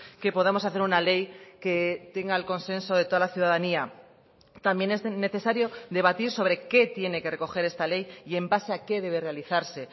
que podamos hacer una ley que tenga el consenso de toda la ciudadanía también es necesario debatir sobre qué tiene que recoger esta ley y en base a qué debe realizarse